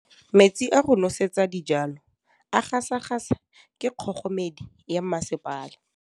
Metsi a go nosetsa dijalo a gasa gasa ke kgogomedi ya masepala.